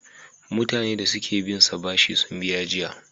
Mutane da suki binsa bashi sun biya jiya.